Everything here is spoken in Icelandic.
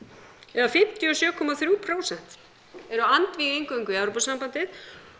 eða fimmtíu og sjö komma þrjú prósent eru andvíg inngöngu í Evrópusambandið